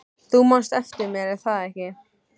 Þú manst eftir mér, er það ekki?